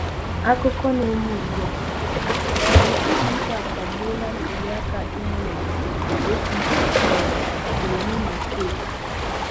Akụkọ na-eme ugbu a: um Ụlọikpe akagbuola ntụlịaka imeụlọ APC um mere n'Imo steeti.